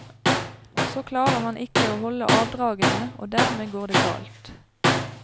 Så klarer han ikke å holde avdragene, og dermed går det galt.